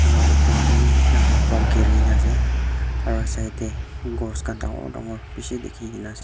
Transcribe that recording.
aru upar te bhi flower pak giri kena ase aru side te gos khan bishih dekhi kena ase.